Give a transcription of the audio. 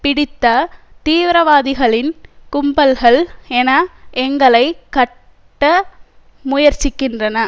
பிடித்த தீவிரவாதிகளின் கும்பல்கள் என எங்களை கட்ட முயற்சிக்கின்றன